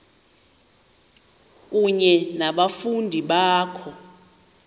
kunye nabafundi bakho